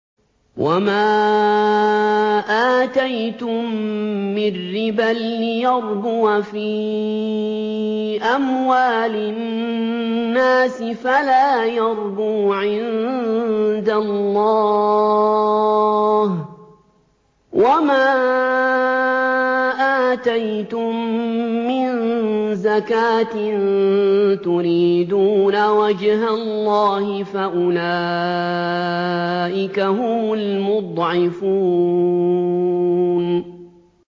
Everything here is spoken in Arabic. وَمَا آتَيْتُم مِّن رِّبًا لِّيَرْبُوَ فِي أَمْوَالِ النَّاسِ فَلَا يَرْبُو عِندَ اللَّهِ ۖ وَمَا آتَيْتُم مِّن زَكَاةٍ تُرِيدُونَ وَجْهَ اللَّهِ فَأُولَٰئِكَ هُمُ الْمُضْعِفُونَ